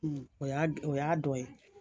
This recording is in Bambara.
O y'a o y'a dɔ ye.